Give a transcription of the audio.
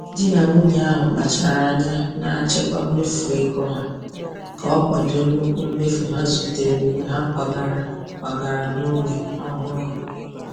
Di na nwunye ahụ kpachara anya na-achịkwa mmefu ego ha ka o kwado nnukwu mmefu ha zutere mgbe ha kwagara kwagara n’ógbè ọhụrụ.